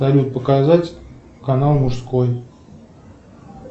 салют показать канал мужской